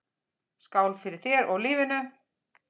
Skál fyrir þér og lífinu.